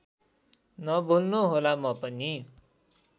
नभुल्नुहोला म पनि